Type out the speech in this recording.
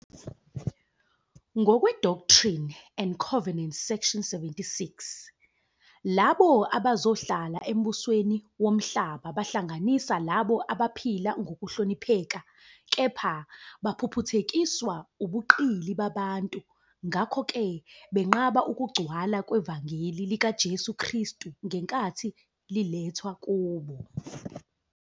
Ngokwe-Doctrine and Covenants Section 76, labo abazohlala embusweni womhlaba bahlanganisa labo abaphila ngokuhlonipheka kepha "baphuphuthekiswa ubuqili babantu" ngakho-ke benqaba ukugcwala kwevangeli likaJesu Kristu ngenkathi lilethwa kubo.